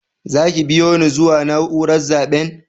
Za ki biyo ni zuwa naúrar zaben?